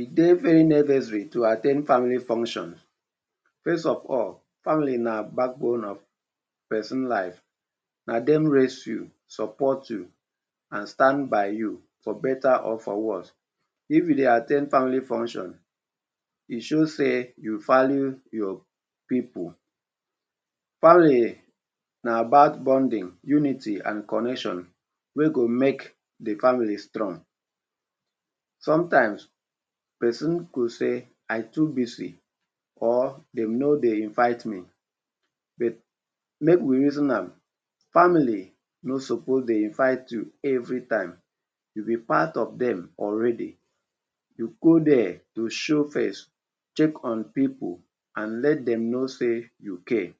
E dey very necessary to at ten d family function. First of all, family na backbone of person life. Na dem raise you, support you and stand by you for better or for worse. If you dey at ten d family function, e show sey you value your pipu. Family na about bonding, unity and connection wey go make de family strong. Sometimes person go say “I too busy” or “dem no dey invite me” but make we reason am; family no suppose dey invite you everytime, you be part of dem already. You go there to show face, check on pipu and let dem know sey you came.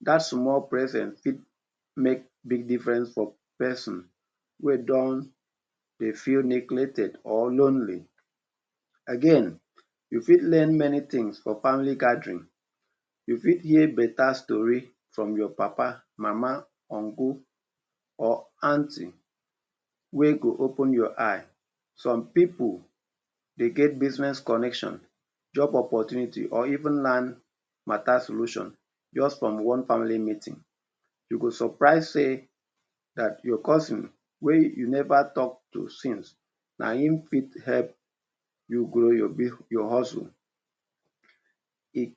Dat small presence fit make big difference for person wey don dey feel neglected or lonely. Again, you fit learn many things for family gathering, you fit hear better story from your papa, mama, uncle or aunty wey go open your eye. Some pipu dey get business connection, job opportunity or even learn matter solution just from one family meeting. You go surprise sey dat your cousin wey you never talk to since, na im fit help you grow your your hustle. E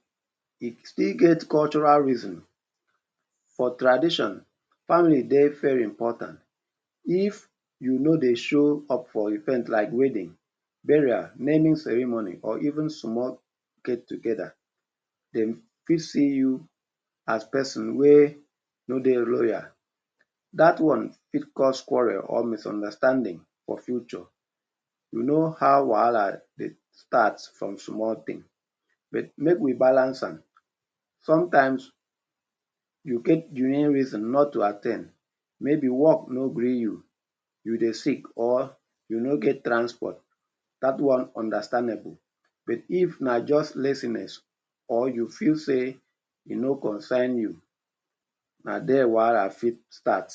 e still get cultural reason. For tradition, family dey very important. If you no dey show up for event like wedding, burial, naming ceremony or even small get-together, dem fit see you as person wey no dey royal. Dat one fit cause quarrel or misunderstanding for future. You know how wahala dey start from small thing but make we balance am; sometimes you get de real reason not to at ten d. Maybe work no gree you, you dey sick or you no get transport; dat one understandable but if na just laziness or you feel sey e no concern you, na there wahala fit start.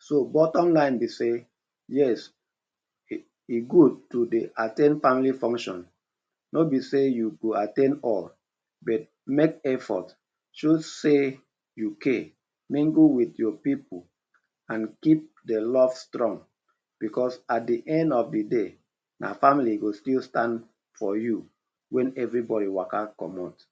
So bottom line be sey, yes, e e good to dey at ten d family function. No be sey you go at ten d all but make effort, show sey you care, mingle wit your pipu and keep de love strong because at de end of de day na family go still stand for you wen everybody waka comot.